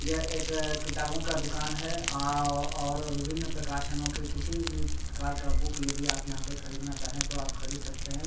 यह एक किताबो का दुकान है आ और विभिन्न प्रकाशनो के किसी भी प्रकार का बुक यदि आप यहाँ पे खरीदना चाहे तो आप खरीद सकते हैं।